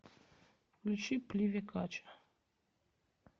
включи пливе кача